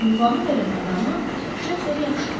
Ünvanı verən adamı Şefter yaxşı tanıyırdı.